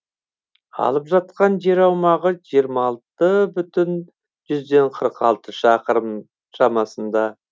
алып жатқан жер аумағы жиырма алты бүтін жүзден қырық алты шақырым шамасында